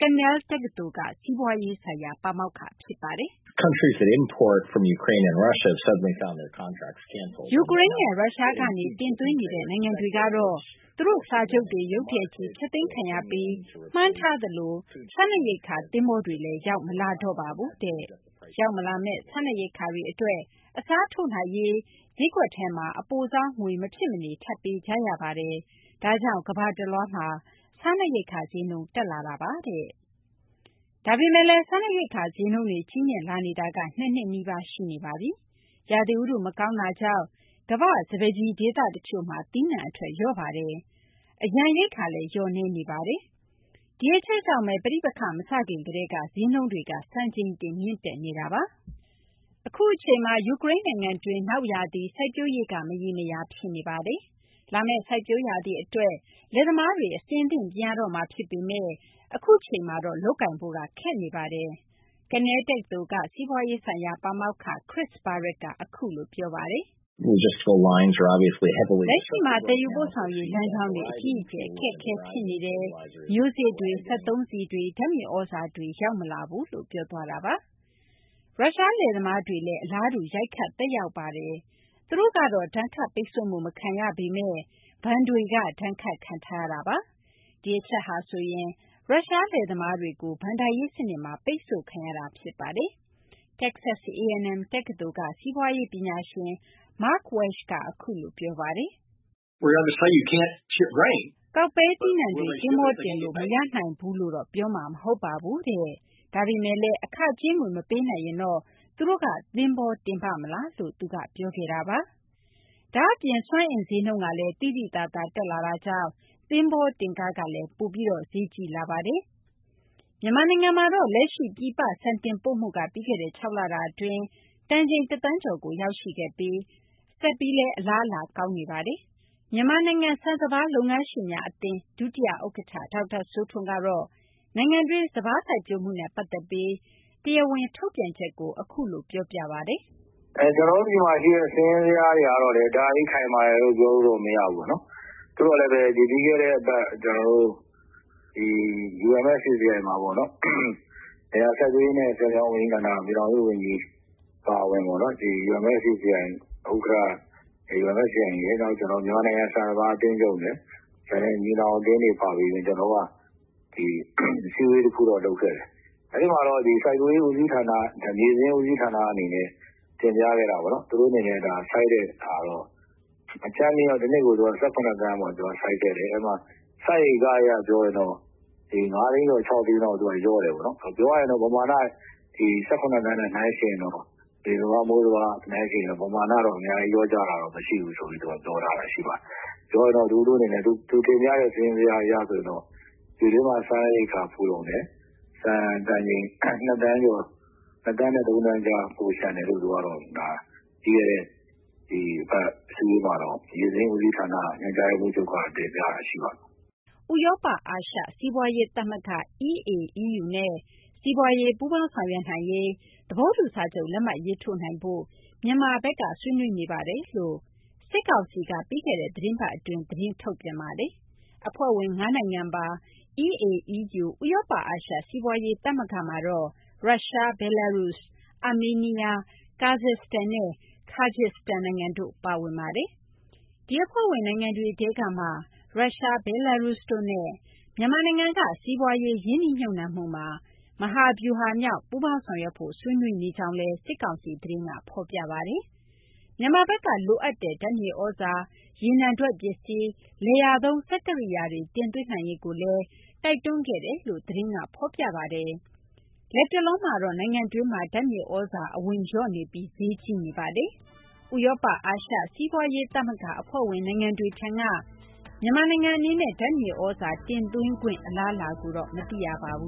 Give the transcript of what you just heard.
Cornell တက္ကသိုလ်က စီးပွားရေး ဆိုင်ရာ ပါမောက္ခ Chris Barrett က အခုလို ပြောပါတယ်။ “ ယူကရိန်းနဲ့ ရုရှားကနေ တင်သွင်းနေတဲ့ နိုင်ငံတွေကတော့ သူတို့ စာချုပ်တွေ ရုတ်တရက်ကြီး ဖျက်သိမ်းခံရပြီး မှန်းထားသလို စားနပ်ရိက္ခာ သဘောင်္တွေလည်း ရောက်မလာတော့ပါဘူး။ ရောက်မလာမယ့် စားနပ်ရိက္ခာတွေ အတွက် အစားထိုးနိုင်ရေး ဈေးကွက်ထဲမှာ အပိုဆောင်းငွေ မဖြစ်မနေ ထပ်ပေးကြရပါတယ်။ ဒါကြောင့် ကမ္ဘာတလွှားမှာ စားနပ်ရိက္ခာ ဈေးနှုန်း တက်လာပါတယ်။” ဒါပေမယ့်လည်း စားနပ်ရိက္ခာ ဈေးနှုန်းတွေ ကြီးမြင့်လာနေတာ ၂ နှစ်နီးပါး ရှိနေပါပြီ။ ရာသီဥတု မကောင်းတာကြောင့် ကမ္ဘာ့ စပါးကျီ ဒေသ တချို့မှာ သီးနှံ အထွက် လျော့ပါတယ်။ အရန် ရိက္ခာလည်း လျော့နည်းနေပါတယ်။ ဒီအချက်ကြောင့်ဘဲ ပဋိပက္ခ မစခင် ကတည်းက ဈေးနှုန်းတွေ စံချိန်တင် မြင့်နေတာပါ။ အခုအချိန်မှာ ယူကရိန်းနိုင်ငံတွင်း နောက်ရာသီ စိုက်ပျိုးရေးက မရေမရာ ဖြစ်နေပါတယ်။ လာမယ့် စိုက်ပျိုးရာသီ အတွက် လယ်သမားတွေ အဆင်သင့် ပြင်ရတော့မှာ ဖြစ်ပေမယ့် အခုအချိန်မှာတော့ လုပ်ကိုင်ဖို့ ခက်ခဲနေပါတယ်။ Cornell တက္ကသိုလ်က စီးပွားရေး ဆိုင်ရာ ပါမောက္ခ Chris Barrett က အခုလို ပြောပါတယ်။ “ လက်ရှိမှာ သယ်ယူပို့ဆောင်ရေး လမ်းကြောင်းတွေ အကြီးအကျယ် အခက်အခဲ ဖြစ်နေပါတယ်။ မျိုးစေ့တွေ ရောက်မလာပါဘူး။ စက်သုံးဆီလည်း ရောက်မလာပါဘူး။ ဓာတ်မြေသြဇာလည်း ရောက်မလာပါဘူး။ ” ရုရှား လယ်သမားတွေလည်း အလားတူ ရိုက်ခတ်ပါတယ်။ သူတို့ကတော့ ဒဏ်ခတ်ပိတ်ဆို့မှု မခံရပေမယ့် ဘဏ်တွေက ဒဏ်ခတ်ခံထားရပါတယ်။ ဒီအချက်ဟာဆိုရင် ရုရှား လယ်သမားတွေကို ဘဏ္ဍာရေး စနစ်မှာ ပိတ်ဆို့ခံရတာ ဖြစ်ပါတယ်။ တက္ကဆက် A&M တက္ကသိုလ်က စီးပွားရေး ပညာရှင် Mark Welch က အခုလို ပြောပါတယ်။ “ ကောက်ပဲသီးနှံတွေ သဘောင်္တင်လို့ မရနိုင်ဘူးလို့တော့ ပြောမှာ မဟုတ်ပါဘူး။ ဒါပေမယ့်လည်း အခကြေးငွေ မပေးနိုင်ရင်တော့ သူတို့က သဘောင်္တင်ပါ့မလား။” ဒါ့အပြင် စွမ်းအင် ဈေးနှုန်းကလည်း သိသိသာသာ တက်လာတာကြောင့် သဘောင်္တင်ခကလည်း ပိုပြီး ဈေးကြီးလာပါတယ်။ မြန်မာနိုင်ငံမှာတော့ လက်ရှိ ပြည်ပ ဆန်တင်ပို့မှုက ပြီးခဲ့တဲ့ ၆ လတာ အတွင်း တန်ချိန် ၁သန်းကျော်ကို ရောက်ရှိခဲ့ပြီး ဆက်ပြီးလည်း အလားအလာ ကောင်းနေပါတယ်။ မြန်မာနိုင်ငံ ဆန်စပါး လုပ်ငန်းရှင်များ အသင်း ဒုတိယ ဥက္ကဌ ဒေါက်တာ စိုးထွန်းကတော့ နိုင်ငံတွင်း စပါး စိုက်ပျိုးမှုနှုန်းနဲ့ ပတ်သက်ပြီး တရားဝင် ထုတ်ပြန်ချက်ကို အခုလို ပြောပြပါတယ်။ “ ကျနော်တို့ မှာ ရှိတဲ့ စာရင်းဇယားတွေကလည်း တအားကြီး ခိုင်မာတယ်လို့တော့ ပြောလို့ မရဘူးပေါ့နော်။ သို့သော်လည်းဘဲ ပြီးခဲ့တဲ့ အပတ် ဒီ UMFCCI မှာပေါ့နော် လယ်ယာ စိုက်ပျိုးရေးနဲ့ ဆည်မြောင်း ဝန်ကြီးဌာန ပြည်ထောင်စု ဝန်ကြီး အပါအဝင်ပေါ့နော် ဒီ UMFCCI ဥက္ကဌ ၊ နောက် မြန်မာနိုင်ငံ ဆန်စပါး အသင်းချုပ်နဲ့ ညီနောင် အသင်းတွေ အပါအဝင် ကျနော်တို့က အစည်းအဝေး တခုတော့ လုပ်ခဲ့တယ်။ အဲဒီမှာတော့ စိုက်ပျိုးရေး ဦးစီးဌာန မြေစာရင်း ဦးစီးဌာန အနေနဲ့ တင်ပြခဲ့တာပေါ့နော်။ သူတို့ အနေနဲ့ စိုက်တဲ့ဟာတော့ အကြမ်းဖျဉ်းကတော့ ၁၇ သန်းပေါ့ သူက စိုက်ခဲ့တယ်။ အဲဒီမှာ စိုက်ဧက အရ ပြောရင်တော့ ၅ သိန်းကျော် ၆ သိန်းလောက် လျော့တယ်ပေါ့နော်။ ပြောရရင်တော့ ပမာဏ ၁၇ သန်းနဲ့ နှိုင်းယှဉ်ရင်တော့ နွေစပါး မိုးစပါး နှိုင်းယှဉ်ရင်တော့ ပမာဏတော့ အများကြီး လျော့ကျတာတော့ မရှိဘူး ဆိုပြီး သူက ပြောထားတာ ရှိပါတယ်။ သူတင်ပြတဲ့ စာရင်းဇယား အရ ဆိုရင်တော့ ပြည်တွင်းမှာ စားရေရိက္ခာဖူလုံတယ်။ ဆန်တန်ချိန် ၂ သန်းနဲ့ ၃ သန်းကြား ပိုလျှံတယ်လို့ သူကတော့ ပြီးခဲ့တဲ့ သီတင်းပတ် မြေစာရင်း ဦးစီးဌာန ညွှန်ကြားရေးမှူးချုပ်က တင်ပြတာ ရှိပါတယ်။ ” ဥရောပ အာရှ စီးပွားရေး သမဂ္ဂ EAEU နဲ့ စီးပွားရေး ပူးပေါင်းဆောင်ရွက်နိုင်ရေး သဘောတူ စာချုပ် လက်မှတ် ရေးထိုးနိုင်ဖို့ မြန်မာဘက်က ဆွေးနွေးနေကြောင်း စစ်ကောင်စီဘက်ကတော့ ပြီးခဲ့တဲ့ သီတင်းပတ် အတွင်းမှာဘဲ သတင်းထုတ်ပြန်ပါတယ်။ အဖွဲ့ဝင် ၅ နိုင်ငံပါ EAEU ဥရောပ အာရှ စီးပွားရေး သမဂ္ဂမှာတော့ ရုရှား၊ ဘဲလားရုစ်၊ အာမေးနီးယား၊ ကာဇက်စတန်နဲ့ ကာဂျစ်စတန်နိုင်ငံတို့ ပါဝင်ပါတယ်။ ဒီအဖွဲ့ဝင် နိုင်ငံတွေထဲကမှ ရုရှား၊ ဘဲလားရုစ်တို့နဲ့ မြန်မာနိုင်ငံက စီးပွားရေး ရင်းနှီးမြှုပ်နှံမှုမှာ မဟာဗျူဟာမြောက် ပူးပေါင်းဆောင်ရွက်ဖို့ ဆွေးနွေးကြောင်းလည်း ဖော်ပြပါတယ်။ မြန်မာဘက်က လိုအပ်နေတဲ့ ဓာတ်မြေသြဇာနဲ့ ရေနံထွက်ပစ္စည်းတွေ၊ လယ်ယာသုံး စက်ကိရိယာတွေ တင်သွင်းနိုင်ရေးကိုလည်း စစ်ကောင်စီဘက်က တိုက်တွန်းခဲ့ကြောင်း သတင်းက ဖော်ပြပါတယ်။ လတ်တလောမှာတော့ မြန်မာနိုင်ငံတွင်း ဓာတ်မြေသြဇာ အဝင်လျော့နေပြီး ဈေးကြီးနေတာပါ။ ဥရောပ အာရှ စီးပွားရေး သမဂ္ဂ အဖွဲ့ဝင် နိုင်ငံတွေထံက ဓာတ်မြေသြဇာ တင်သွင်းခွင့် အလားအလာကိုတော့ မသိရပါဘူး